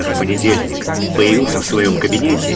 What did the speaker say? в понедельник появился в своём кабинете